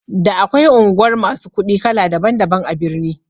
Da akwai unguwar masu kuɗi kala daban daban a birni